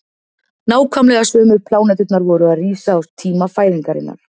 nákvæmlega sömu pláneturnar voru að rísa á tíma fæðingarinnar